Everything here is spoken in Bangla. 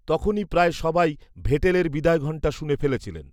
তখনি প্রায় সবাই ভেটেলের বিদায়ঘন্টা শুনে ফেলেছিলেন